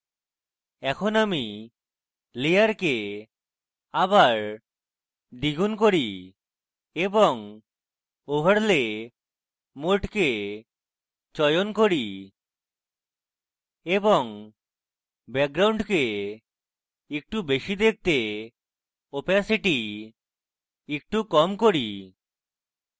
এখন আমি layer আবার দ্বিগুন করি এওবং overlay mode চয়ন করি এবং ব্যাকগ্রাউন্ডকে একটু বেশী দেখতে opacity একটু কম করি